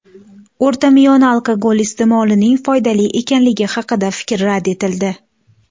O‘rtamiyona alkogol iste’molining foydali ekanligi haqidagi fikr rad etildi.